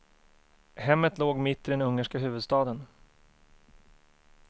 Hemmet låg mitt i den ungerska huvudstaden.